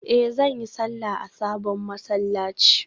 Eh zan yi sallah a sabon masallaci